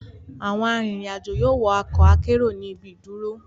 Awọn arinrin-ajo yoo wọ ọkọ akero ni ibi iduro